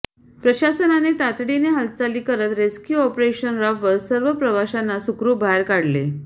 प्रशासनाने तातडीने हालचाली करत रेस्क्यू ऑपरेशन राबवत सर्व प्रवाशांना सुखरुप बाहेर काढले